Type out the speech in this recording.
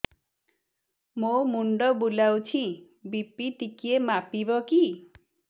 ମୋ ମୁଣ୍ଡ ବୁଲାଉଛି ବି.ପି ଟିକିଏ ମାପିବ କି